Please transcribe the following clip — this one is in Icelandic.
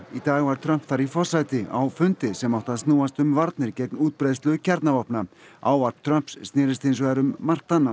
í dag var Trump þar í forsæti á fundi sem átti að snúast um varnir gegn útbreiðslu kjarnavopna ávarp Trumps snerist hins vegar um margt annað